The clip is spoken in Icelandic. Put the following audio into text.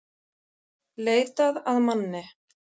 Leitað að manni